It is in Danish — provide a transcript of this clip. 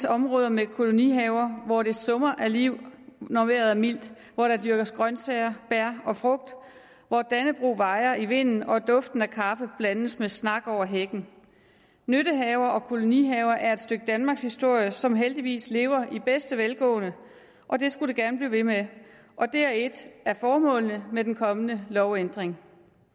områder med kolonihaver hvor det summer af liv når vejret er mildt hvor der dyrkes grøntsager bær og frugt hvor dannebrog vejer i vinden og duften af kaffe blandes med snak over hækken nyttehaver og kolonihaver er et stykke danmarkshistorie som heldigvis lever i bedste velgående og det skulle det gerne blive ved med og det er et af formålene med den kommende lovændring